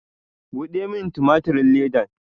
Buɗe min tumatirin ledan!